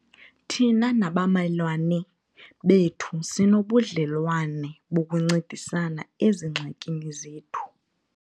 Thina nabamelwane bethu sinobudlelwane bokuncedisana ezingxakini zethu.